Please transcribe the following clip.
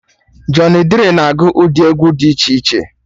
Jọny Drịl na agụ ụdị egwu dị iche iche